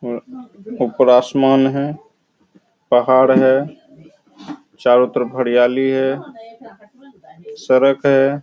और ऊपर आसमान है पहाड़ हैं चारों तरफ हरियाली है सड़क है।